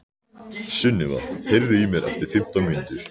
Sunniva, heyrðu í mér eftir fimmtán mínútur.